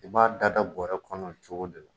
U b'a da da bɔrɛ kɔnɔ nin cogo de la.